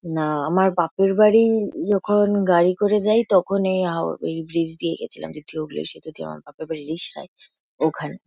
না আমার বাপেরবাড়ি যখন গাড়ি করে যাই তখন এই হাও এই ব্রীজ দিয়ে গেছিলাম। দ্বিতীয় হুগলী সেতু দিয়ে আমার বাপের বাড়ি রিষড়ায়। ওখান --